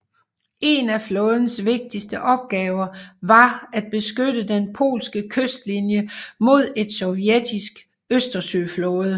En af flådens vigtigste opgaver var at beskytte den polske kystlinie mod et sovjetiske Østersøflåde